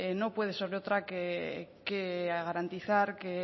no puede ser otra que garantizar que